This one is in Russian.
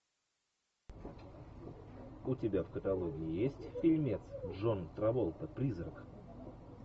у тебя в каталоге есть фильмец джон траволта призрак